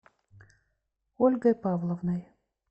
ольгой павловной